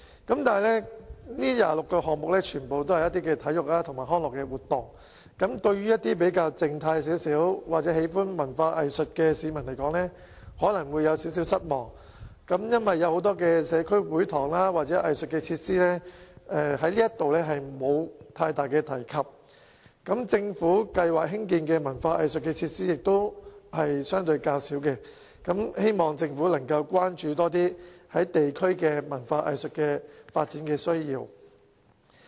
但是，這26個項目全部也是一些體育及康樂設施，對於一些比較靜態或喜歡文化藝術的市民來說，可能會有點失望，因為當中對社區會堂或藝術設施並沒有太多提及，政府計劃興建的文化藝術設施亦相對較少，希望政府能夠多加關注地區對文化藝術發展的需要。